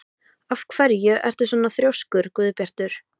Af hverju ertu svona þrjóskur, Guðbjartur?